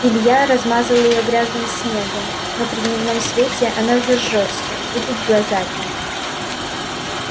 илья размазал её грязным снегом но при дневном свете она зажжётся будет глаза печь